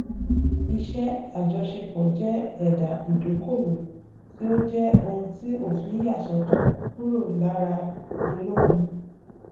àwọn ohun ìní gbogbo um ohun tó níye lórí um tí iléeṣẹ um kan ní